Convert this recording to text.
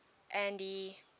andy